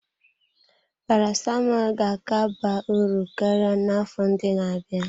Paracetamol ga-aka ba uru karịa n'afọ ndị na-abịa.